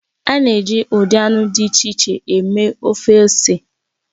A na-eji ụdị anụ dị iche iche eme ofe ose